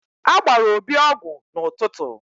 A gbara Obi ọgwụ n'ụtụtụ.